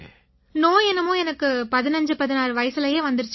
நோய் என்னமோ எனக்கு 1516 வயசுலயே வந்திருச்சுங்க